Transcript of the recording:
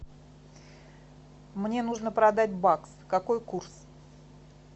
мне нужно продать бакс какой курс